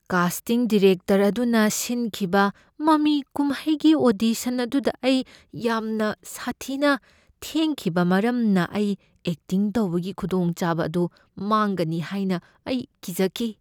Casting director ꯑꯗꯨꯅ ꯁꯤꯟꯈꯤꯕ ꯃꯃꯤ ꯀꯨꯝꯍꯩꯒꯤ ꯑꯣꯗꯤꯁꯟ ꯑꯗꯨꯗ ꯑꯩ ꯌꯥꯝꯅ ꯁꯥꯊꯤꯅ ꯊꯦꯡꯈꯤꯕ ꯃꯔꯝꯅ ꯑꯩ ꯑꯦꯛꯇꯤꯡ ꯇꯧꯕꯒꯤ ꯈꯨꯗꯣꯡꯆꯥꯕ ꯑꯗꯨ ꯃꯥꯡꯒꯅꯤ ꯍꯥꯏꯅ ꯑꯩ ꯀꯤꯖꯈꯤ꯫